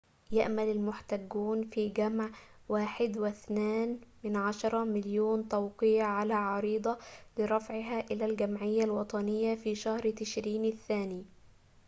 يأمل المحتجون في جمع 1.2 مليون توقيع على عريضة لرفعها إلى الجمعية الوطنية في شهر تشرين الثاني